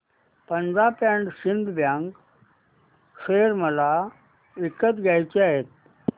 Punjab and Sind Bank share मला विकत घ्यायचे आहेत